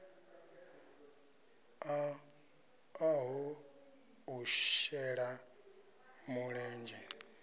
ṱo ḓaho u shela mulenzhe